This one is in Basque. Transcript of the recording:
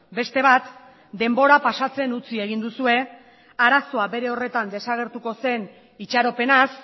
beste bat denbora pasatzen utzi egin duzue arazoa bere horretan desagertuko zen itxaropenaz